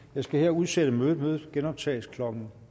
jeg skal her udsætte mødet mødet genoptages klokken